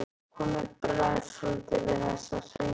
Honum bregður svolítið við þessa hreinskilni.